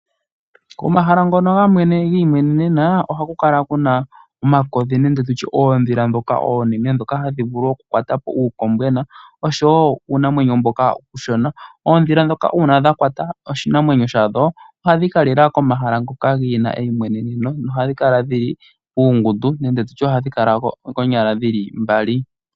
Komahala ngono ga imwenenena oha ku kala ku na omakodhi nenge tu tye oodhila dhoka oonene, dhoka hadhi vulu okukwata po uukombwena oshowo uunamwenyo mboka uushona. Oodhila dhoka uuna dha kwata oshinamwenyo shadho, oha dhi ka lila komahala ngo gena eimweneneno na ohadhi kala dhili uungundu, nenge tutye ohadhi kala konyala dhili mbali.